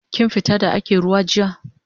Kin fita da ake ruwa jiya?